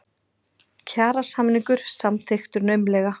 Kjarasamningur samþykktur naumlega